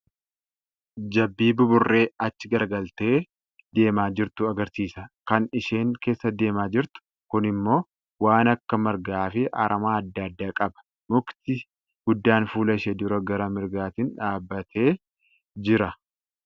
Jabbii buburree achi garagaltee deemaa jirtu agarsiisa. Kan isheen keessa deemaa jirtu kun immoo waan akka margaa fi aramaa adda addaa qaba. Mukti guddaan fuula ishee dura gara mirgaatiin dhaabatee jira.